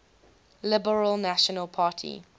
liberal national party